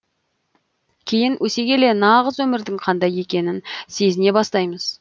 кейін өсе келе нағыз өмірдің қандай екенін сезіне бастаймыз